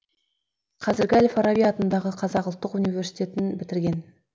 қазіргі әл фараби атындағы қазақ ұлттық университетін бітірген